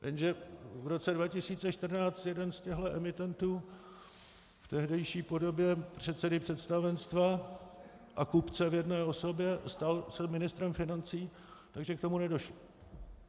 Jenže v roce 2014 jeden z těchhle emitentů v tehdejší podobě předsedy představenstva a kupce v jedné osobě stal se ministrem financí, takže k tomu nedošlo.